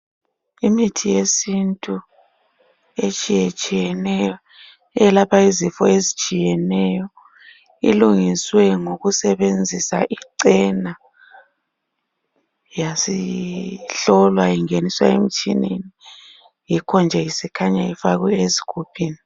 Imithi yesintu etshiyetshiyeneyo eyelapha izifo ezitshiyeneyo ilungiswe ngokusebenzisa icena yasihlolwa ingeniswa emtshineni, yikho nje isikhanya ifakwe ezigubhini.